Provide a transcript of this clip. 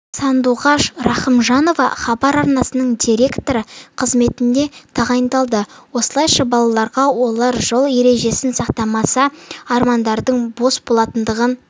сандуғаш рахымжанова хабар арнасының директоры қызметіне тағайындалды осылайша балаларға олар жол ережесін сақтамаса армандардың бос болатындығын